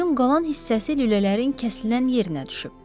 Sözün qalan hissəsi lülələrin kəsilən yerinə düşüb.